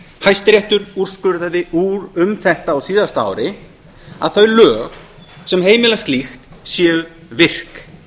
hæstiréttur úrskurðaði um þetta á síðasta ári að þau lög sem heimila slíkt séu virk